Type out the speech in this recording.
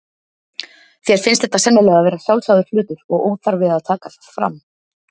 Þér finnst þetta sennilega vera sjálfsagður hlutur og óþarfi að taka það fram.